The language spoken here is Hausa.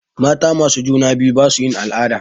Mata masu juna biyu basu yin al'ada.